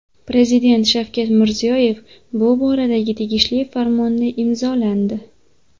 Prezident Shavkat Mirziyoyev bu boradagi tegishli farmonni imzolandi.